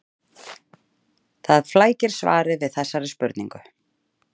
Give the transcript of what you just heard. Það flækir svarið við þessari spurningu.